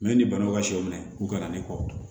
ni banaw ka sɛw minɛ k'u ka na ne kɔ